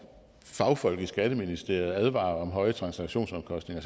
når fagfolk i skatteministeriet advarer om høje transaktionsomkostninger